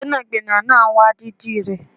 Gbẹ́nàgbẹ́nà náà wá dídì rẹ